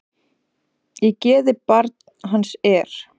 Í geði barn hans er.